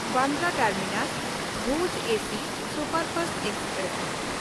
Bandra ᱴᱟᱨᱢᱤᱱᱟᱥ–ᱵᱷᱩᱡᱽ AC superfast express